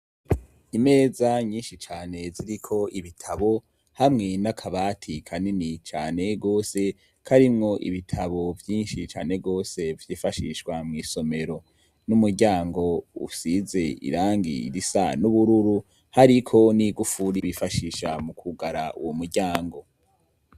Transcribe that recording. Imeza nyinshi cane ziriko ibitabo hamwe n'akabati kanini cane gose ko arimwo ibitabo vyinshi cane gose vyifashishwa mw'isomero, n'umuryango ussize irangi irisa n'ubururu, hariko n'igufuri bifashisha mu kugara uwo muryango.